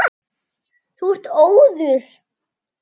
Þú ert óður!